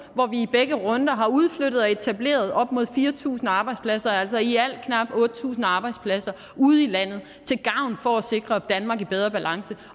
hvor vi i begge runder har udflyttet og etableret op mod fire tusind arbejdspladser altså i alt knap otte tusind arbejdspladser ude i landet for at sikre et danmark i bedre balance